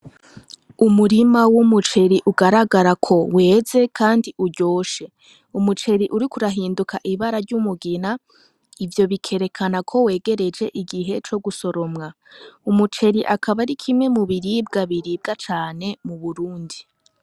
Umurima w'umuceri ugaragara ko weze, kandi uryoshe umuceri uri kurahinduka ibara ry'umugina ivyo bikerekana ko wegereje igihe co gusoromwa umuceri akaba ari kimwe mu biribwa biribwa cane mu Burundi.